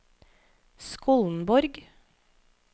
Skollenborg